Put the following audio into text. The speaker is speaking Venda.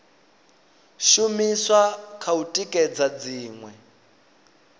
shumiswa kha u tikedza dziṅwe